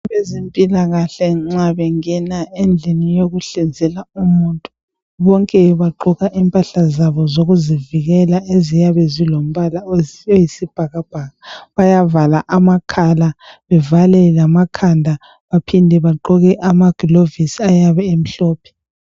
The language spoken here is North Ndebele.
Ezempilakahle nxa bengena endlini yokuhlinzela umuntu bonke bagqoka impahla zabo zokuzivikela aziyabe zilombala oyisibhakabhaka bayavala amakhala bevale lamakhanda baphinde bagqoke amakilovisi ayabe emhlophe.